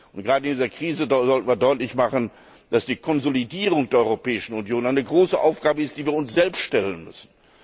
Gerade in dieser Krise sollte man deutlich machen, dass die Konsolidierung der Europäischen Union eine große Aufgabe ist, die wir uns selbst stellen müssen.